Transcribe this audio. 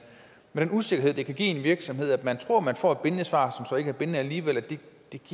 er en usikkerhed det kan give i en virksomhed at man tror man får et bindende svar som så ikke er bindende alligevel det